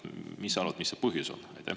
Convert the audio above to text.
Mis sa arvad, mis see põhjus on?